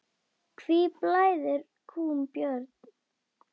Hví blæðir kúm, Björn?